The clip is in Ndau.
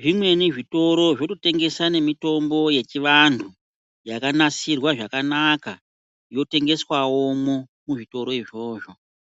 zvimweni zvitoro zvoto tengesa ne mitombo ye chi vantu yaka nasirwa zvakanaka yo tengeswa womwo mu zvitoro izvozvo.